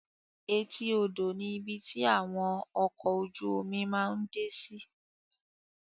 Èti odo ni ibi ti awọn ọkọ ojú omi máa ǹ de si